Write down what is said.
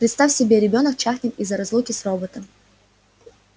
представь себе ребёнок чахнет из-за разлуки с роботом